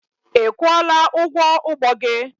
Ị kwụọla ụgwọ ụgbọ gị?